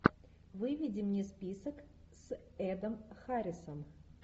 выведи мне список с эдом харрисом